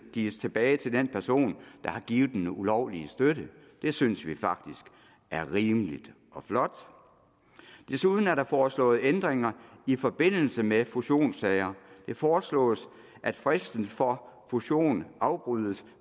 gives tilbage til den person der har givet den ulovlige støtte det synes vi faktisk er rimeligt og flot desuden er der foreslået ændringer i forbindelse med fusionssager det foreslås at fristen for fusionen afbrydes